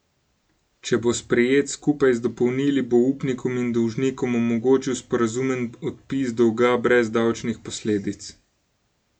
Če bo sprejet skupaj z dopolnili, bo upnikom in dolžnikom omogočil sporazumen odpis dolga brez davčnih posledic.